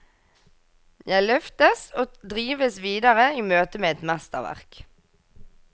Jeg løftes og drives videre i møte med et mesterverk.